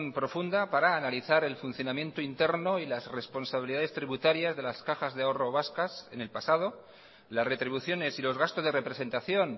profunda para analizar el funcionamiento interno y las responsabilidades tributarias de las cajas de ahorro vascas en el pasado las retribuciones y los gastos de representación